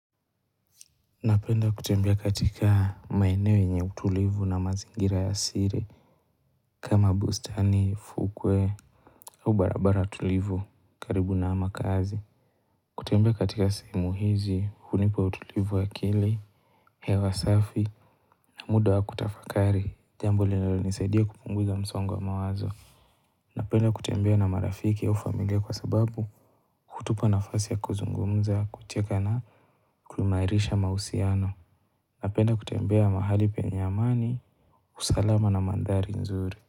Napenda kutembea katika maeneo yenye utulivu na mazingira ya siri kama bustani, fukwe au barabara tulivu karibu na makaazi. Kutembea katika sehemu hizi hunipa utulivu wa akili, hewa safi na muda wa kutafakari, jambo linolonisaidia kupunguza msongo wa mawazo. Napenda kutembea na marafiki au familia kwa sababu hutupa nafasi ya kuzungumza, kucheka na kuimarisha mahusiano. Napenda kutembea mahali penye amani. Usalama na mandhari nzuri.